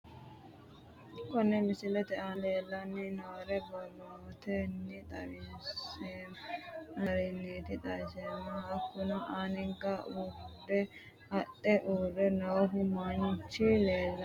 Kone misilete aana leelanni noore borrotenni xawisemoha ikiiro aane noo garinniti xawiseemohu hakunno anga urde adhe uure noohu manchi leelani nooe